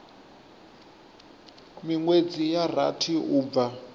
minwedzi ya rathi u bva